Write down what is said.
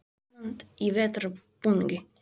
Ísland í vetrarbúningi.